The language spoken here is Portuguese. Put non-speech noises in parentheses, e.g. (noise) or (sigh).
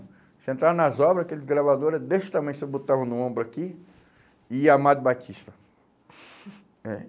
Você entrava nas obras, aqueles gravador era desse tamanho, você botava no ombro aqui e Amado Batista. (laughs) É.